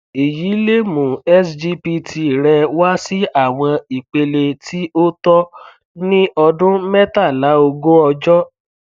èyí lè mú sgpt rẹ wá sí àwọn ipele tí ó tọ ní ọdún mẹtàláógún ọjọ